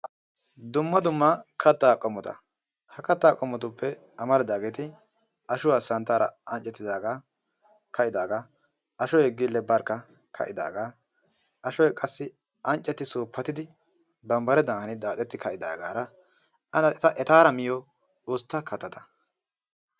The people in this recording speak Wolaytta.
Dumma dumma kattaa qommota. Ha kattaa qommotuppe amaridaageeti, ashuwa santtaara anccettidaagaa, ka'idaagaa, ashoy barkka gille ka'idaagaa, ashoy qassi anccetti suuppatidi bambbaredan hanidi daaxetti ka'idaagaara adankka etaara miyo ustta kattata.